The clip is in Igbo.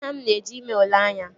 Nna m na-eje ime ule anya